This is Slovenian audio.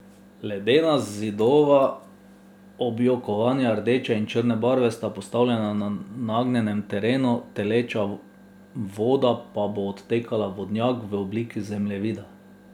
Ledena Zidova objokovanja rdeče in črne barve sta postavljena na nagnjenem terenu, taleča voda pa bo odtekala v vodnjak v obliki zemljevida.